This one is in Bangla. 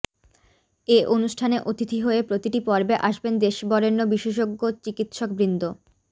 এ অনুষ্ঠানে অতিথি হয়ে প্রতিটি পর্বে আসবেন দেশবরেণ্য বিশেষজ্ঞ চিকিৎসকবৃন্দ